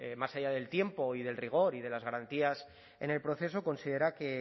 más allá del tiempo y del rigor y de las garantías en el proceso considera que